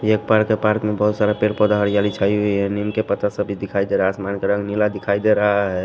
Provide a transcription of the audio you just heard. ये एक पार्क है पार्क में बहुत सारा पेड़ पौधा हरियाली छाई हुई है नीम के पत्ता सभी दिखाई दे रहा है आसमान का रंग नीला दिखाई दे रहा है।